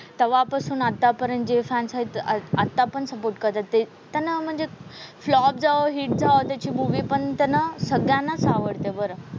तवापासून आतापर्यंत जे फॅन्स आहेत आत आतापण सपोर्ट करते. त्यांना म्हणजे फ्लॉप जाओ हिट जाओ त्याची मूव्हीपण त्यांना सगळ्यांनाच आवडते बरं.